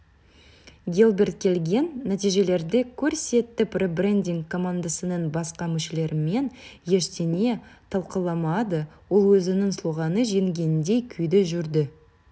гилберт келген нәтижелерді көрсетіп ребрендинг командасының басқа мүшелерімен ештеңе талқыламады ол өзінің слоганы жеңгендей күйде жүрді